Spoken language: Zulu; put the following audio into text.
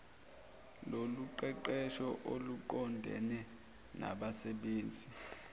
lokuqeqesha oluqondene nabasebenzi